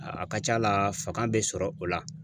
A ka ca la, fanga be sɔrɔ o la.